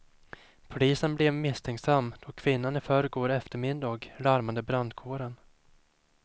Polisen blev misstänksam då kvinnan i förrgår eftermiddag larmade brandkåren.